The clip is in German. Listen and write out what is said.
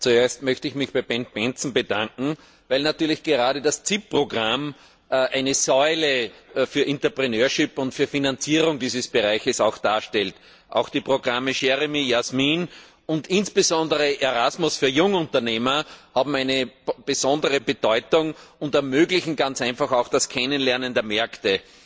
Zuerst möchte ich mich bei Bendt Bendtsen bedanken, weil natürlich gerade das CIP Programm eine Säule für das Unternehmertum und für die Finanzierung dieses Bereiches darstellt. Auch die Programme JEREMIE, JASMINE und insbesondere Erasmus für Jungunternehmer haben eine besondere Bedeutung und ermöglichen ganz einfach auch das Kennenlernen der Märkte.